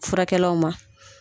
Furakɛlaw ma.